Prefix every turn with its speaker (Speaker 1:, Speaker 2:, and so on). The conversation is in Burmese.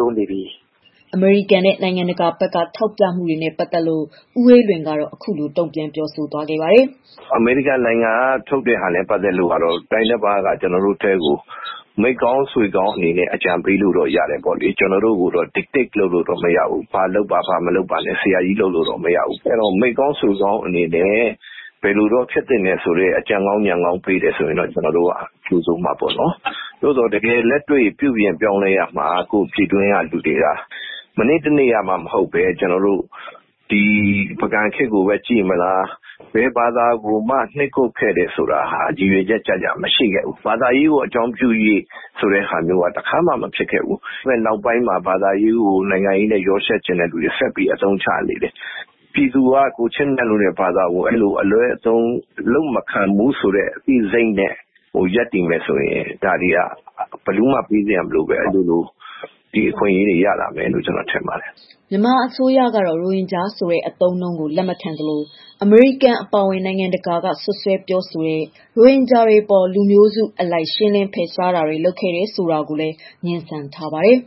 Speaker 1: စေချင်တယ်။"
Speaker 2: အမေရိကန်နဲ့ နိုင်ငံတကာဘက်က ထောက်ပြမှုတွေနဲ့ပတ်သတ်လို့ ဦးအေးလွင်ကတော့ အခုလိုတုံ့ပြန်သွားပါတယ်။
Speaker 1: "အမေရိကန်နိုင်ငံဘက်က နိုင်ငံကောင်းတခုအနေနဲ့ အကြံပြုတာကိုကြိုဆိုပေမဲ့ စွက်ဖက်လို့တော့မရ၊ ဘာလုပ်ပါ၊ ဘာတော့မလုပ်နဲ့ဆိုတာမျိုးတော့ မရဘူး။ ကိုယ့်နိုင်ငံကလူတွေပဲ ပြင်ရမှာဖြစ်တယ်။ အရင်ကရှိခဲ့တဲ့ စိတ်တွေကို ပြန်ဖော်ထုတ်ရမယ်။ မနေ့တနေ့က မဟုတ်ပဲ ပုဂံခေတ်ကြည့်မလား ဘယ်ဘာသာကိုမှ ဖိနှိပ်ခဲ့တယ်ဆိုတာ မရှိခဲ့ဘူး။ ရည်ရွယ်ချက်နဲ့ ဖိနှိပ်တာတွေ မရှိခဲ့ဘူး။ နောက်ပိုင်းမှာ ဘာသာရေးကိုနိုင်ငံရေးအရ အသုံးချချင်သူတွေက လုပ်လာတာ။ ဒါကိုပြည်သူတွေကသိပြီး ကိုယ့်ဘာသာက ဒီလို အလွဲသုံးချခံ မဖြစ်ဖို့ ကိုယ်တိုင်ကာကွယ်ပြုပြင်ဖို့ပဲ လိုအပ်ပါတယ်။" မြန်
Speaker 2: မာအစိုးရကတော့ ရိုဟင်ဂျာဆိုတဲ့ အသုံးအနှုန်းကို လက်မခံသလို၊ အမေရိကန် အပါအဝင် နိုင်ငံတကာက စွပ်စွဲပြောဆိုတဲ့ ရိုဟင်ဂျာတွေအပေါ် လူမျိုးစုအလိုက် ရှင်းလင်းဖယ်ရှားတာတွေလုပ်ခဲ့တယ် ဆိုတာကိုလည်း ငြင်းဆန်ထားပါတယ်